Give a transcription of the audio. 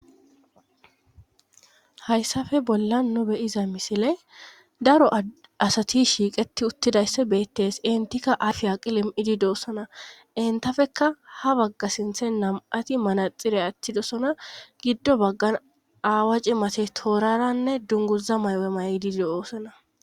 hayssafe bolla no beyiza misile daro asati shiiqeti uttidaysse beettes intikka aafiya qilom7idi doossana entafeka ha bagga sinthe nam7ati manaxire attidosona giddo baggan aawa cimate tooraranne dunguza maywe may7didi oosana